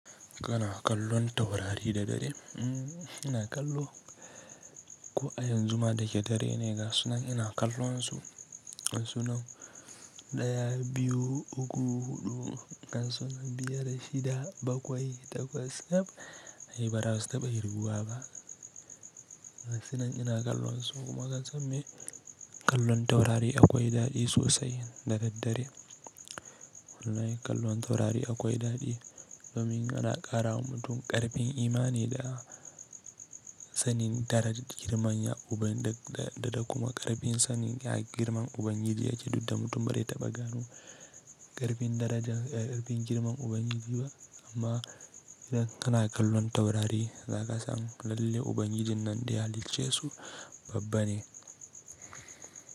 Kana kallon taurari da dare? Ina kallo. Ko a yanzu ma da ke dare ne gasu nan ina kallon su. Gasu nan ɗaya, biyu, uku, huɗu, gasu nan biyar da shida, bakwai, takwas, taf, ai bara su taɓa kirguwa ba. Gasu nan ina kallon su kuma ka san me kallon taurari akwai daɗi sosai da daddare. Hune kallon taurari akwai daɗi domin yana ƙara wa mutum ƙarfin imani da sannin daraja girman ya uban da da da kuma ƙarfin sannin ya girman ubangiji yake duk da mutum bazai taɓa ganin ƙarfin daraja ƙarfin girman ubangiji ba amma idan kana kallon taurari zaka san lalle ubangijin nan da ya halicce su babba ne.